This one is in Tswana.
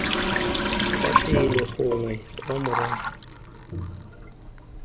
kwa pele gongwe kwa morago